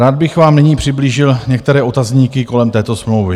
Rád bych vám nyní přiblížil některé otazníky kolem této smlouvy.